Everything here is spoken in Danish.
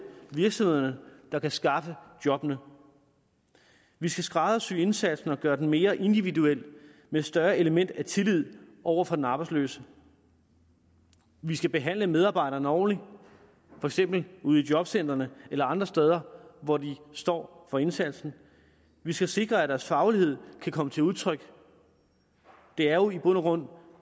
virksomhederne der kan skaffe jobbene vi skal skræddersy indsatsen og gøre den mere individuel med et større element af tillid over for den arbejdsløse vi skal behandle medarbejderne ordentligt for eksempel ude i jobcentrene eller andre steder hvor de står for indsatsen vi skal sikre at deres faglighed kan komme til udtryk det er jo i bund og grund